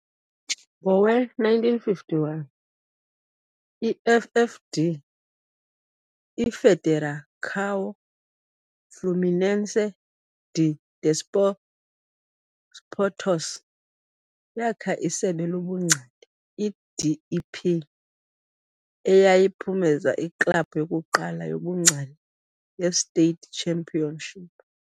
Ngowe-1951, i-FFD, i-Federação Fluminense de Desportos, yakha isebe lobungcali, i-D.E.P., eyayiphumeza i-club yokuqala yobungcali ye-state championship.